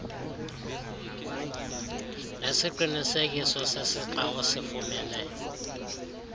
nesiqinisekiso sesixa osifumene